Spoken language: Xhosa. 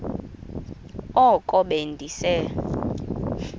oko be ndise